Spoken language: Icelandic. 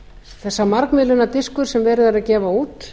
þessi margmiðlunardiskur sem verið er að gefa út